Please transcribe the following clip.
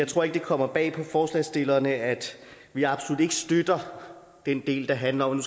tror ikke det kommer bag på forslagsstillerne at vi absolut ikke støtter den del der handler om